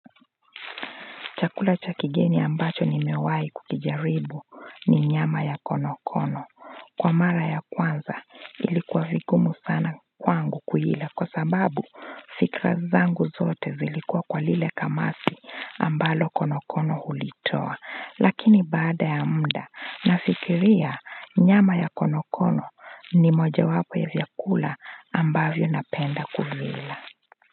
Chakula cha kigeni ambacho nimewahi kukijaribu ni nyama ya konokono. Kwa mara ya kwanza ilikuwa vigumu sana kwangu kuila kwa sababu fikira zangu zote zilikuwa kwa lile kamasi ambalo konokono hulitoa. Lakini baada ya muda nafikiria nyama ya konokono ni moja wapo ya vyakula ambavyo napenda kuvila.